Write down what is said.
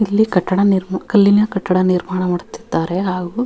ಇಲ್ಲಿ ಕಟ್ಟಡ ನಿರ್ಮಾ ಕಲ್ಲಿನ ಕಟ್ಟಡ ನಿರ್ಮಾಣ ಮಾಡುತ್ತಿದ್ದಾರೆ ಹಾಗು --